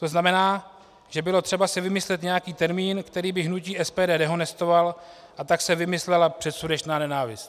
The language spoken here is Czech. To znamená, že bylo třeba si vymyslet nějaký termín, který by hnutí SPD dehonestoval, a tak se vymyslela předsudečná nenávist.